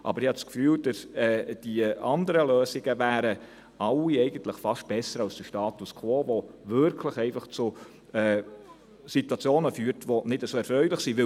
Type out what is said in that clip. Aber ich habe den Eindruck, dass die anderen Lösungen alle fast besser wären als der Status quo, der wirklich zu Situationen führt, die nicht sehr erfreulich sind.